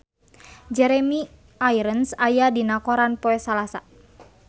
Jeremy Irons aya dina koran poe Salasa